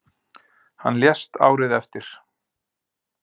Hann lést árið eftir.